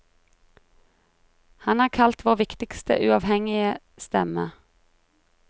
Han er kalt vår viktigste uavhengige stemme.